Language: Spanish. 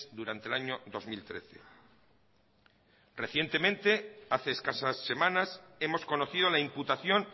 durante el año dos mil trece recientemente hace escasas semanas hemos conocido la imputación